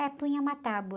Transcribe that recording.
É, punha uma tábua.